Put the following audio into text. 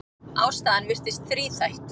Ástæðan virðist þríþætt.